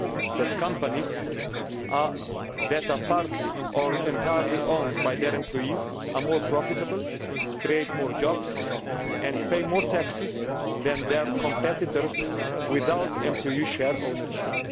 that companies that are partly, or entirely, owned by their employees are more profitable, create more jobs and pay more taxes than their competitors without employee share ownership.